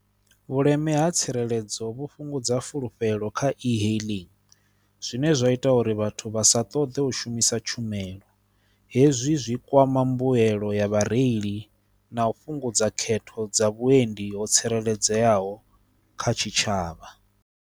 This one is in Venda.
Vhuleme ha tsireledzo vhu fhungudza fulufhelo kha e-hailing zwine zwa ita uri vhathu vhasa ṱoḓe u shumisa tshumelo, hezwi zwi kwama mbuelo ya vhareili na u fhungudza khetho dza vhuendi ho tsireledzeaho kha tshitshavha.